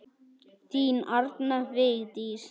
Þín Arna Vigdís.